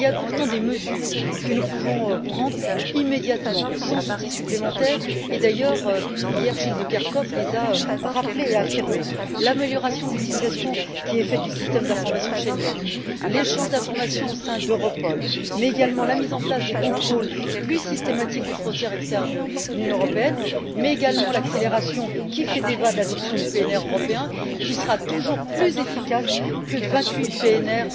Il y a pourtant des mesures que nous pouvons prendre immédiatement, sans outils supplémentaires, et d'ailleurs, hier, Gilles de Kerchove les a rappelées et affirmées l'amélioration de l'utilisation qui est faite du système d'information Schengen, l'échange d'informations au sein d'Europol, mais également la mise en place de contrôles plus systématiques aux frontières externes de l'Union européenne, ainsi que l'accélération qui fait débat de l'adoption du PNR européen qui sera toujours plus efficace que vingt huit PNR